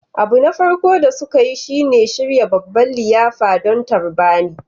Abu na farko da suka yi shi ne shirya babban liyafa don tarbar ni